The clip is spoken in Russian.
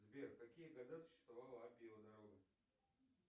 сбер в какие года существовала аппиева дорога